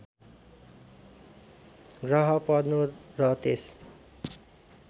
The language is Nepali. ग्रह पर्नु र त्यस